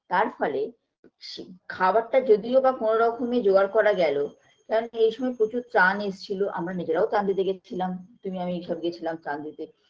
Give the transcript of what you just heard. তারফলে সে খাবারটা যদিওবা কোনো রকমে জোগাড় করা গেলো কেননা এইসময় প্রচুর ত্রাণ এসছিল আমরা নিজেরাও ত্রাণ দিতে গেছিলাম তুমি আমি এসব গেছিলাম ত্রাণ দিতে